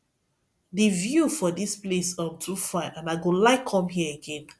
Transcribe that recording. the view for dis place um too fine and i go like come here again